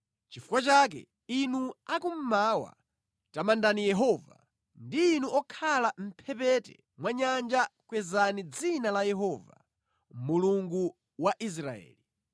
Nʼchifukwa chake inu akummawa, tamandani Yehova; ndi inu okhala mʼmphepete mwa nyanja kwezani dzina la Yehova, Mulungu wa Israeli.